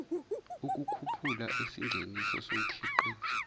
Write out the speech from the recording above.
ukukhuphula isingeniso somkhiqizo